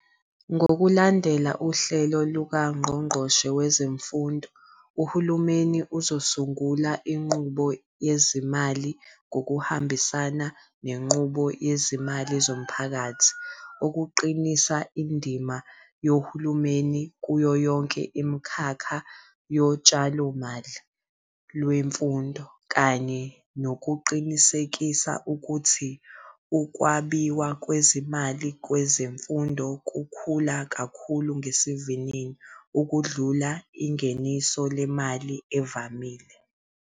Ngokulandela uhlelo lukaNgqongqoshe wezeMfundo, uhulumeni uzosungula inqubo yezezimali ngokuhambisana nenqubo yezimali zomphakathi, ukuqinisa indima yohulumeni kuyo yonke imikhakha yotshalomali lwemfundo, kanye nokuqinisekisa ukuthi ukwabiwa kwezimali kwezemfundo kukhula kakhulu ngesivinini ukudlula ingeniso lemali evamile.